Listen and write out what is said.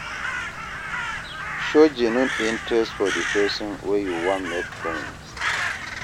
Show genuine interest for di person wey you wan make friend